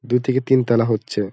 দু থেকে তিন তালা হচ্ছে ।